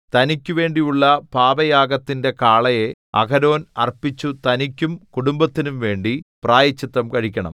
തനിക്കുവേണ്ടിയുള്ള പാപയാഗത്തിന്റെ കാളയെ അഹരോൻ അർപ്പിച്ചു തനിക്കും കുടുംബത്തിനുംവേണ്ടി പ്രായശ്ചിത്തം കഴിക്കണം